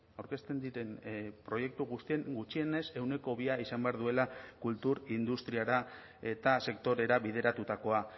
aurkezten diren proiektu guztien gutxienez ehuneko bia izan behar duela kultur industriara eta sektorera bideratutakoa